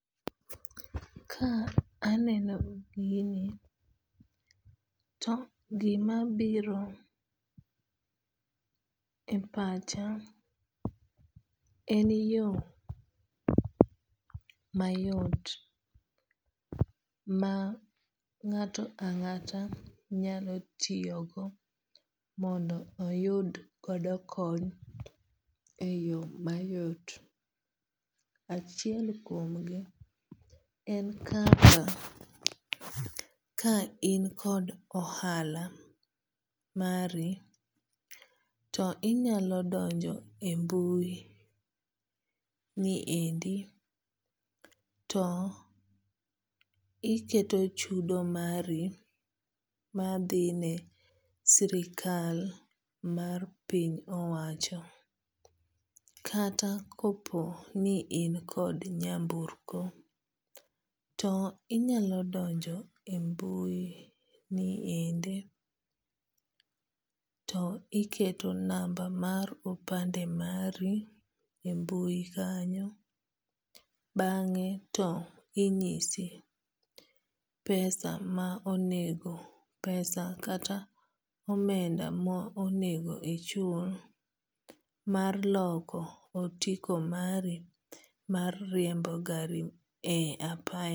Ka aneno gini to gima biro e pacha en yo mayot ma ng'ato ang'ata nyalo tiyogo mondo oyud godo kony e yo mayot. Achiel kuom gi en kaka ka in kod ohala mari to inyalo donjo e mbui ni endi to iketo chudo mari madhine sirkal mar piny owacho. Kata kopo ni in kod nyamburko to inyalo donjo e mbui ni endi to iketo namba mar opande mari e mbui kanyo bang'e to inyisi pesa kata omenda ma onego ichul mar loko otiko mari mar riembo gari e apaya.